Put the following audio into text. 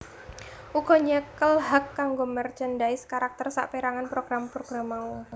uga nyekel hak kanggo merchandise karakter saperangan program program mau